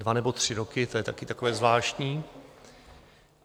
Dva nebo tři roky, to je také takové zvláštní.